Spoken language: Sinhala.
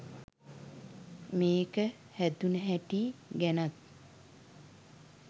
මේක හැදුන හැටි ගැනත්